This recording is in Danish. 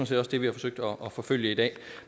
set også det vi har forsøgt at forfølge i dag